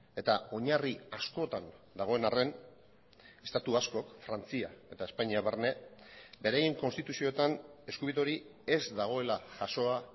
eta oinarri askotan dagoen arren estatu askok frantzia eta espainia barne beraien konstituzioetan eskubide hori ez dagoela jasoa